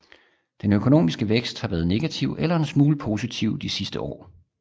Den økonomiske vækst har været negativ eller en smule positiv de sidste år